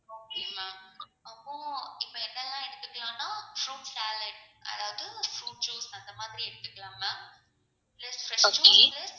okay